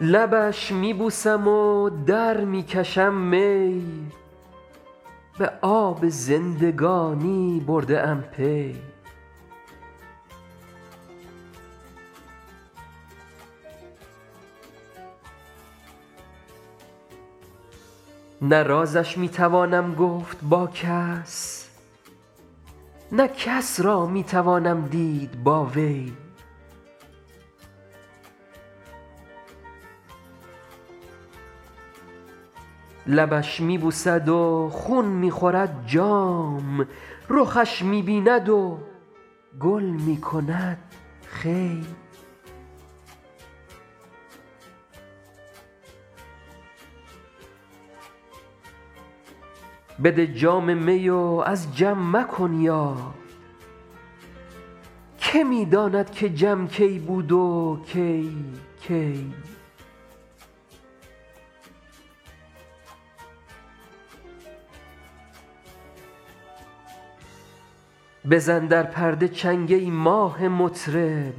لبش می بوسم و در می کشم می به آب زندگانی برده ام پی نه رازش می توانم گفت با کس نه کس را می توانم دید با وی لبش می بوسد و خون می خورد جام رخش می بیند و گل می کند خوی بده جام می و از جم مکن یاد که می داند که جم کی بود و کی کی بزن در پرده چنگ ای ماه مطرب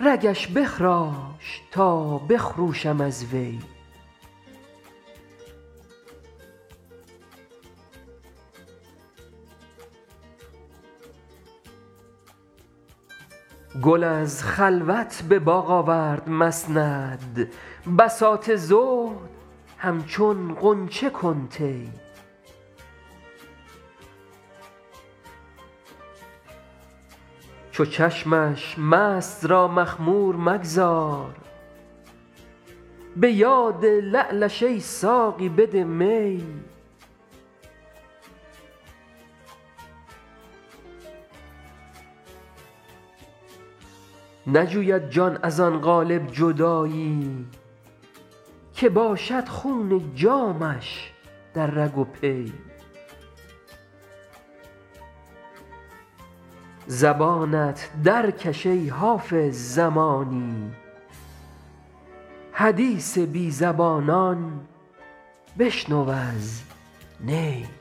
رگش بخراش تا بخروشم از وی گل از خلوت به باغ آورد مسند بساط زهد همچون غنچه کن طی چو چشمش مست را مخمور مگذار به یاد لعلش ای ساقی بده می نجوید جان از آن قالب جدایی که باشد خون جامش در رگ و پی زبانت درکش ای حافظ زمانی حدیث بی زبانان بشنو از نی